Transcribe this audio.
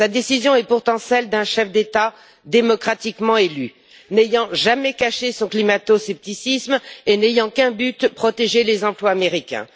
Sa décision est pourtant celle d'un chef d'État démocratiquement élu, qui n'a jamais caché son climato scepticisme et qui n'a qu'un but, protéger les emplois américains.